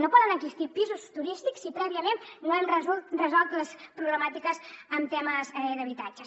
no poden existir pisos turístics si prèviament no hem resolt les problemàtiques en temes d’habitatges